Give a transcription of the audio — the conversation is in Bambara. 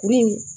Kurun in